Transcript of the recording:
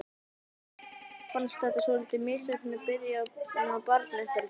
Okkur fannst þetta svolítið misheppnuð byrjun á barnauppeldi.